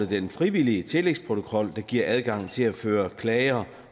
den frivillige tillægsprotokol der giver adgang til at føre klager